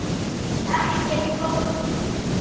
Ekki flókið.